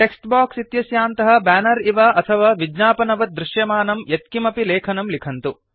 takes box इत्यस्यान्तः banner इव अथवा विज्ञापनवत् दृश्यमानं यत्किमपि लेखनं लिखन्तु